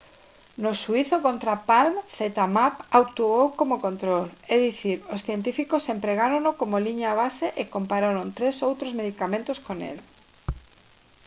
no xuízo contra palm zmapp actuou como control é dicir os científicos empregárono como liña base e compararon tres outros medicamentos con el